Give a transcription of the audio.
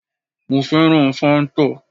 Mo fẹ́ràn fáńtà